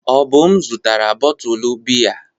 Obum zụtara bọtụlụ biya.